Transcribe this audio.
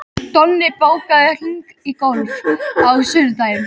Donni, bókaðu hring í golf á sunnudaginn.